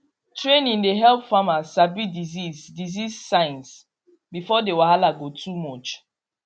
training dey help farmers sabi disease disease signs before the wahala go too much